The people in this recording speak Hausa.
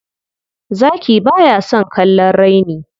Zaki ba ya son kallon raini.